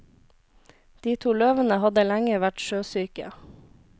De to løvene hadde lenge vært sjøsyke.